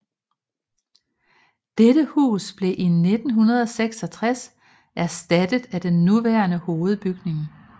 Dette hus blev i 1966 erstattet af den nuværende hovedbygning